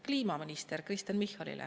– kliimaminister Kristen Michalile.